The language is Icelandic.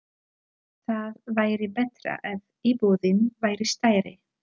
Það væri betra ef íbúðin væri stærri.